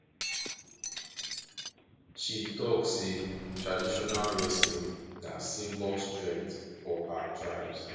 she tok sey traditional wrestling na symbol strength for her tribes